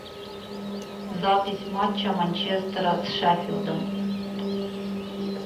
запись матча манчестера с шеффилдом